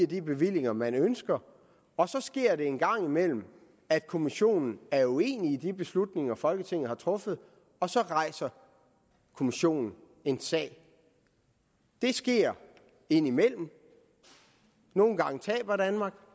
de bevillinger man ønsker og så sker det en gang imellem at kommissionen er uenig i de beslutninger folketinget har truffet og så rejser kommissionen en sag det sker indimellem nogle gange taber danmark